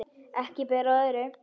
Ekki ber á öðru